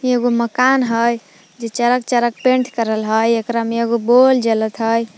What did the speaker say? एगो मकान हय जे चरक चरक पेंट करल हय एकरा मे एगो बोल जलत हय।